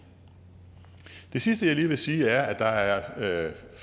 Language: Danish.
det sidste jeg lige vil sige er at der er